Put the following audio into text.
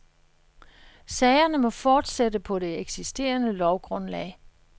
Sagerne må fortsætte på det eksisterende lovgrundlag.